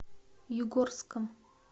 югорском